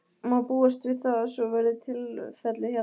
Má búast við að það, svo verði tilfellið hérna?